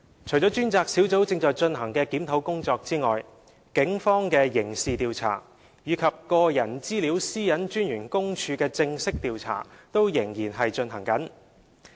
除專責小組正進行的檢討工作外，警方的刑事調查，以及個人資料私隱專員公署的正式調查均仍在進行中。